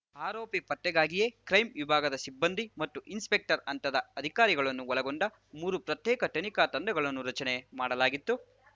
ಆರೋಪಿ ಪತ್ತೆಗಾಗಿಯೇ ಕ್ರೈಂ ವಿಭಾಗದ ಸಿಬ್ಬಂದಿ ಮತ್ತು ಇನ್ಸ್‌ಪೆಕ್ಟರ್‌ ಹಂತದ ಅಧಿಕಾರಿಗಳನ್ನು ಒಳಗೊಂಡ ಮೂರು ಪ್ರತ್ಯೇಕ ತನಿಖಾ ತಂಡಗಳನ್ನು ರಚನೆ ಮಾಡಲಾಗಿತ್ತು